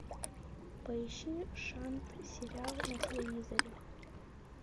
поищи шант сериал на телевизоре